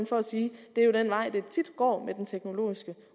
for at sige at det er den vej det tit går med den teknologiske